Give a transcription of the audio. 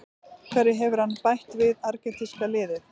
Hverju hefur hann bætt við argentínska liðið?